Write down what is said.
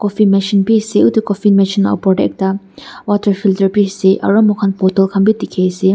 cofin machine bhi ase cofin machine opor te ekta water filter bhi asearu mur khan bottle bhi dekhi ase.